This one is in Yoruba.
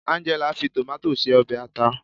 Angela fi tomato se obe ata